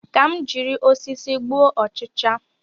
Ka m jiri osisi gbuo ọchịcha